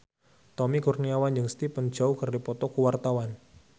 Tommy Kurniawan jeung Stephen Chow keur dipoto ku wartawan